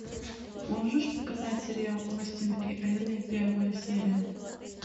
можешь показать сериал остин и элли первая серия